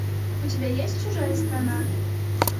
у тебя есть чужая страна